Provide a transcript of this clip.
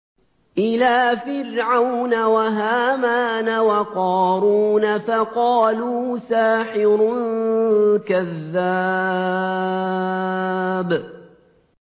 إِلَىٰ فِرْعَوْنَ وَهَامَانَ وَقَارُونَ فَقَالُوا سَاحِرٌ كَذَّابٌ